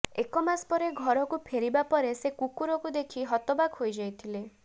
ଏକମାସ ପରେ ଘରକୁ ଫେରିବା ପରେ ସେ କୁକୁରକୁ ଦେଖି ହତବାକ୍ ହୋଇଯାଇଥିଲେ